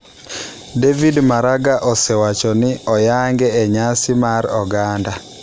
David Maraga osewacho ni oyange e nyasi mag oganda.